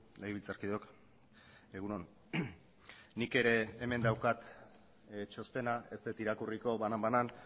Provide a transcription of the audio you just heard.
legebiltzarkideok egun on nik ere hemen daukat txostena ez dut irakurriko banan banan